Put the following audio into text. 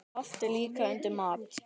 Haft er líka undir mat.